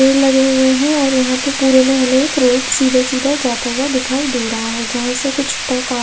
पेड़ लगे हुए है और यहाँ पे पुरे में हमे एक रोड सीधा सीधा जाता जाता दिखाई दे रहा है जहा से कुछ ट्रक आ--